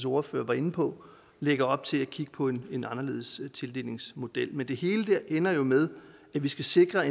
ordfører var inde på lægger op til at kigge på en en anderledes tildelingsmodel men det hele ender jo med at vi skal sikre at